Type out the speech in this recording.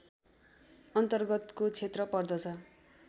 अन्तर्गतको क्षेत्र पर्दछ